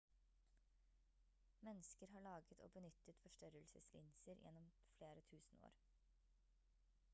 mennesker har laget og benyttet forstørrelseslinser gjennom flere tusen år